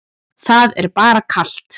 Það er bara kalt.